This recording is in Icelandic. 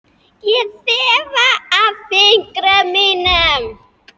Ég þefa af fingrum mínum.